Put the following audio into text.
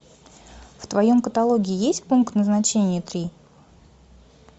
в твоем каталоге есть пункт назначения три